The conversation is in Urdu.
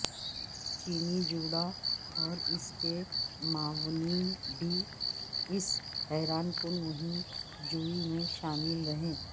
چینی جوڑا اور اس کےمعاونین بھی اس حیران کن مہم جوئی میں شامل رہے